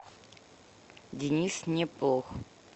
денис непох